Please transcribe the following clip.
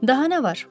Daha nə var?